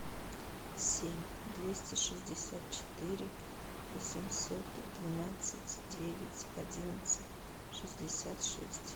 семь двести шестьдесят четыре восемьсот двенадцать девять одиннадцать шестьдесят шесть